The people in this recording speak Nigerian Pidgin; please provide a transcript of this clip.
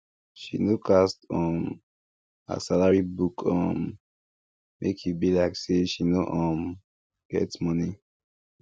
she no cast um her salary book um make e be like say she no um get money